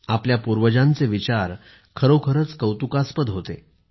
आपल्या पूर्वजांचे विचार खरोखरच कौतुकास्पद होते